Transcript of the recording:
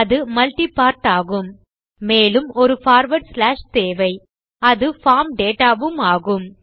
அது multi part ஆகும் மேலும் ஒரு பார்வார்ட் ஸ்லாஷ் தேவை அது பார்ம் டேட்டா வும் ஆகும்